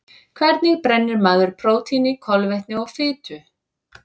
Hvernig brennir maður prótíni, kolvetni og fitu?